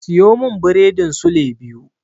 Siyo min biredin sule biyu.